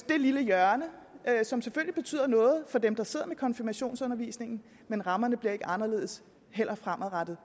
det lille hjørne som selvfølgelig betyder noget for dem der sidder med konfirmationsundervisningen men rammerne bliver ikke anderledes fremadrettet